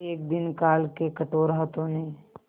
एक दिन काल के कठोर हाथों ने